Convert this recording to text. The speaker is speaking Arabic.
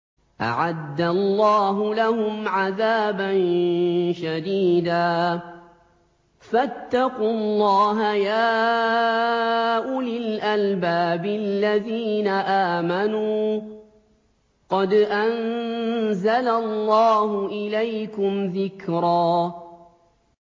أَعَدَّ اللَّهُ لَهُمْ عَذَابًا شَدِيدًا ۖ فَاتَّقُوا اللَّهَ يَا أُولِي الْأَلْبَابِ الَّذِينَ آمَنُوا ۚ قَدْ أَنزَلَ اللَّهُ إِلَيْكُمْ ذِكْرًا